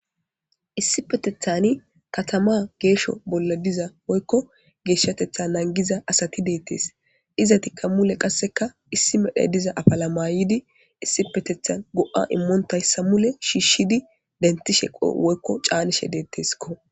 issi petethani katama geesho bolla diza woykko geeshshatetha nangiza asati deettes iza tikka mule qasseka issi medhe diza afala mayidi issi petethan go7a immoontayssa mule shiishshidi denti sheqo woykko caanishe deetteskko